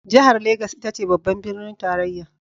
Jihar Legas ita ce babban birnin tarayya.